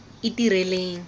itireleng